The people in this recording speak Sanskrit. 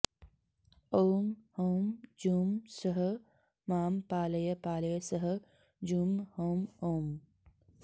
ॐ हौं जूं सः मां पालय पालय सः जूं हौं ॐ